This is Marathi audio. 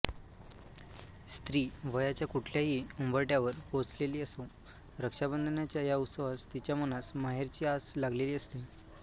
स्त्री वयाच्या कुठल्याही उंबरठ्यावर पोहचलेली असो रक्षाबंधनाच्या ह्या उत्सवास तीच्या मनास माहेरची आस लागलेली असते